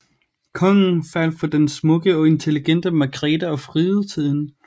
Kongen faldt for den smukke og intelligente Margrethe og friede til hende